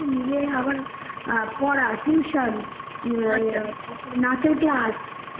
কিছু মিলে না আবার পড়া tuition নাচের class